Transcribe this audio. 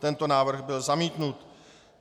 Tento návrh byl zamítnut.